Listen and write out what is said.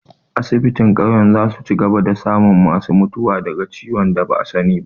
Asibitin ƙauyen za su cigaba da samun ma su mutuwa daga ciwon da ba'a sani ba